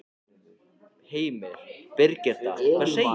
Heimir: Birgitta, hvað segir þú?